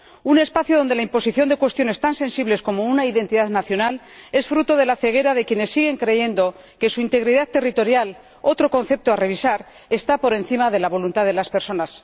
Un espacio en el que la imposición de cuestiones tan sensibles como una identidad nacional, es fruto de la ceguera de quienes siguen creyendo que su integridad territorial —otro concepto a revisar—, está por encima de la voluntad de las personas.